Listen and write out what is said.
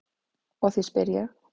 Og því spyr ég.